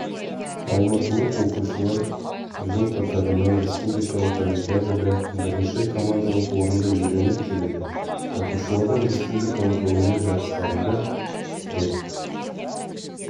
алматылық оқушылар жыл қатарынан республикалық олимпиадада бірінші командалық орынды иеленіп келеді оқушылардың республикалық ғылыми жарыстарында рет